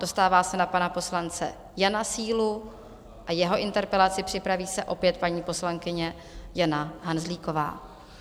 Dostává se na pana poslance Jana Sílu a jeho interpelaci, připraví se opět paní poslankyně Jana Hanzlíková.